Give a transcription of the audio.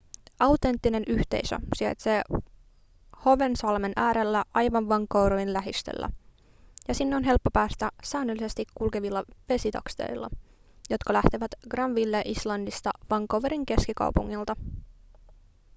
autenttinen yhteisö sijaitsee howensalmen äärellä aivan vancouverin lähistöllä ja sinne on helppo päästä säännöllisesti kulkevilla vesitakseilla jotka lähtevät granville islandista vancouverin keskikaupungilta